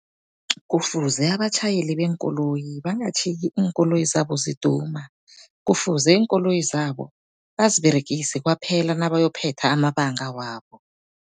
Kufuze abatjhayeli beenkoloyi bangatjhiyi iinkoloyi zabo ziduma, kufuze iinkoloyi zabo baziberegise kwaphela nabayokuphetha amabanga wabo.